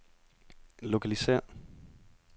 lokalisér